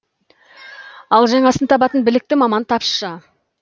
ал жаңасын табатын білікті маман тапшы